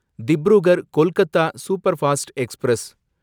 Dibrugarh Kolkata superfast express